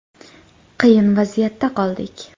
Qiyin vaziyatda qoldik.